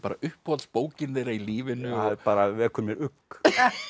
uppáhalds bókin þeirra í lífinu það bara vekur mér ugg